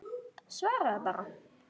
Svaraðu bara.